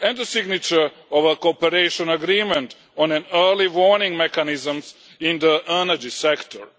and the signature of a cooperation agreement on an early warning mechanism in the energy sector.